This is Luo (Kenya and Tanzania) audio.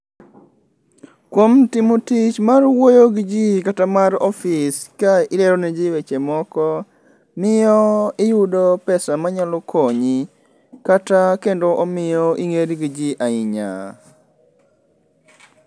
Kuom timo tich mar wuoyo gi jii kata mar ofis ka ilero ne jii weche moko miyo iyudo pesa manyalo konyi kata kendo omiyo ingeri gi jii ahinya